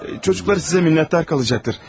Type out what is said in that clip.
Çocuqları sizə minnətdar qalacaqdır.